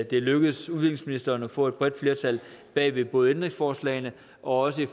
det er lykkedes udviklingsministeren at få et bredt flertal bag både ændringsforslagene og også